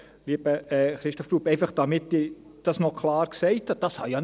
Lieber Christoph Grupp, einfach damit ich dies noch klar gesagt habe: